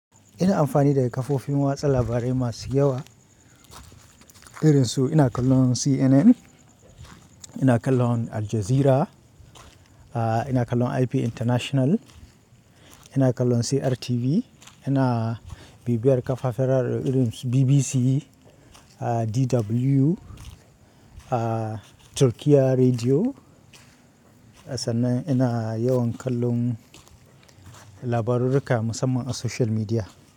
Ina amfani da kafofin watsa labarai masu yawa irin su ina kallon CNN, ina kallon Al Jazeera, ina kallon IP International, ina kallon CRTV, ina bibiyar kafafarar irin su BBC, DW, Turkiyya Rediyo sannan ina yawan kallon labarurruka musamman a social media.